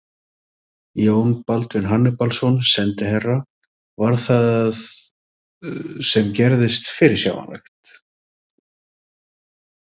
Jón Baldvin Hannibalsson, sendiherra: Var það sem gerðist fyrirsjáanlegt?